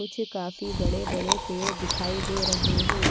कुछ काफी बड़े बड़े पेड़ दिखाई दे रहे है।